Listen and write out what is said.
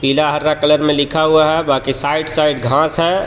पीला हरा कलर में लिखा हुआ है साइड साइड घास हे. बड़ा--